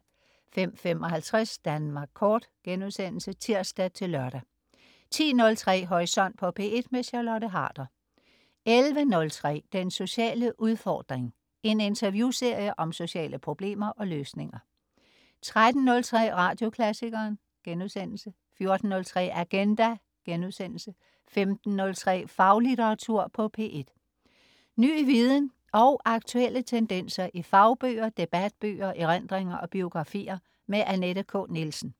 05.55 Danmark Kort* (tirs-lør) 10.03 Horisont på P1. Charlotte Harder 11.03 Den sociale udfordring. En interviewserie om sociale problemer og løsninger 13.03 Radioklassikeren* 14.03 Agenda* 15.03 Faglitteratur på P1. Ny viden og aktuelle tendenser i fagbøger, debatbøger, erindringer og biografier. Annette K. Nielsen